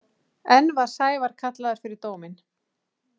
Enn var Sævar kallaður fyrir dóminn.